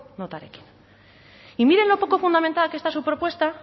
notarekin y miren lo poco fundamental que está su propuesta